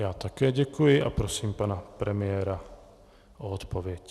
Já také děkuji a prosím pane premiéra o odpověď.